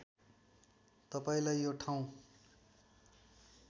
तपाईँंलाई यो ठाउँ